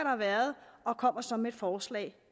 har været og kommer så med et forslag